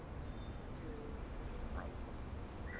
ಹ್ಮ್ ಆಯ್ತು.